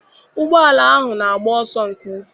Ụgbọala ahụ na-agba ọsọ nke ukwu.